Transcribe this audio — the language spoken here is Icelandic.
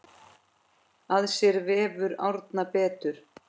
Að sér vefur Árna betur